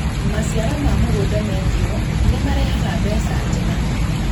Maciaro ma mũgũnda mendio nĩmarehega mbeca njega